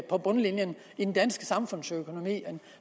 på bundlinjen i den danske samfundsøkonomi